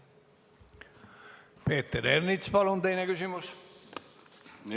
Peeter Ernits, palun teine küsimus!